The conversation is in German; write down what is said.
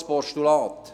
Weshalb ein Postulat?